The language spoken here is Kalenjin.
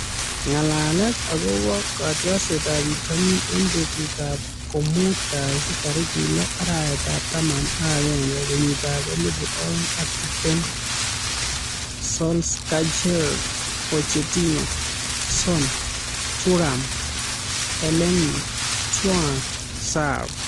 Ng'alalet akobo kotiorsetab bitonin eng betutab komuut kasi tarik lo, arawetab taman ak agenge , kenyitab elebu oeng ak tiptem:Solskjaer, Pochettino, Son ,Thuram, Elneny ,thiaw, Sarr